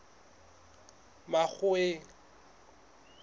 makgoweng